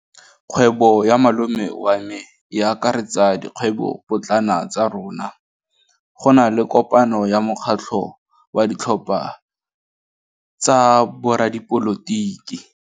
Kgwêbô ya malome wa me e akaretsa dikgwêbôpotlana tsa rona. Go na le kopanô ya mokgatlhô wa ditlhopha tsa boradipolotiki.